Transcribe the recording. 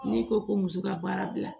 N'i ko ko muso ka baara bila